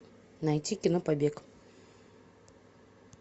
найти кино побег